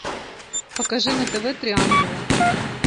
покажи на тв три ангела